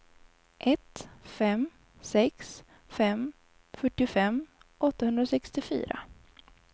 ett fem sex fem fyrtiofem åttahundrasextiofyra